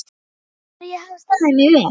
og þá fannst mér ég hafa staðið mig vel.